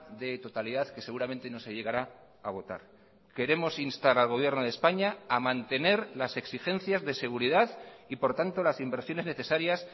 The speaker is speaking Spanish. de totalidad que seguramente no se llegará a votar queremos instar al gobierno de españa a mantener las exigencias de seguridad y por tanto las inversiones necesarias